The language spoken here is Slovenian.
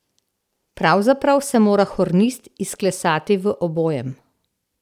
Pravzaprav se mora hornist izklesati v obojem.